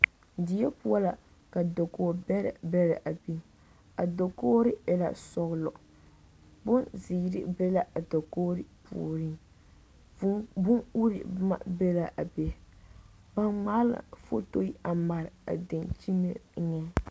Die poɔ la ka dakoo bɛrɛ bɛrɛ a biŋ a dakogri e la sɔglɔ bonzeere be la a dakogi puoriŋ vuu bon uree boma be la be ba ŋmaa la fotori a mare a dankyimɛ eŋa